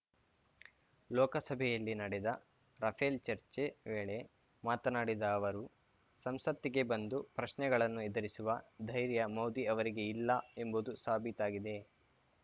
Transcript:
ಲೋಕಸಭೆಯಲ್ಲಿ ನಡೆದ ರಫೇಲ್‌ ಚರ್ಚೆ ವೇಳೆ ಮಾತನಾಡಿದ ಅವರು ಸಂಸತ್ತಿಗೆ ಬಂದು ಪ್ರಶ್ನೆಗಳನ್ನು ಎದುರಿಸುವ ಧೈರ್ಯ ಮೋದಿ ಅವರಿಗೆ ಇಲ್ಲ ಎಂಬುದು ಸಾಬೀತಾಗಿದೆ